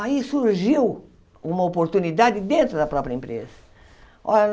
Aí surgiu uma oportunidade dentro da própria empresa. Olha